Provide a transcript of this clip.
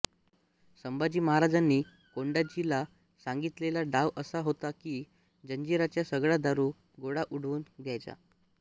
संभाजी महाराजांनी कोंडाजी ला सांगितलेला डाव असा होता कि जंजीऱ्याचा सगळा दारू गोळा उडवून द्यायचा